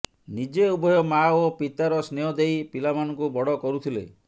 ନିଜେ ଉଭୟ ମାଆ ଓ ପିତାର ସ୍ନେହ ଦେଇ ପିଲାମାନଙ୍କୁ ବଡ କରୁଥିଲେ